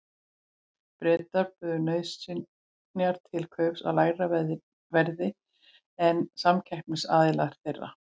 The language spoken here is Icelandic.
Bretar buðu nauðsynjar til kaups á lægra verði en samkeppnisaðilar þeirra.